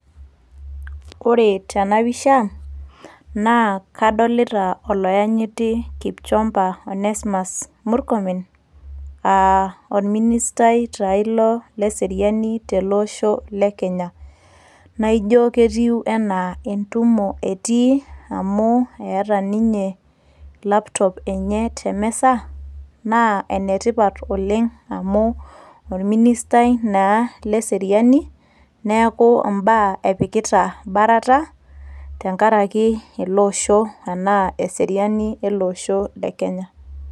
ore tena pisha naa kadolita oloyenyiti Kipchumba onesmus murkomen aa orministai taa ilo leseriani tele osho le kenya naijo ketiu enaa entumo etii amu eeta ninye laptop enye temisa naa enetipat oleng amu orministai naa leseriani neeku imbaa epikita barata tenkaraki ele osho enaa eseriani ele osho le kenya.